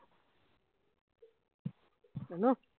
কেন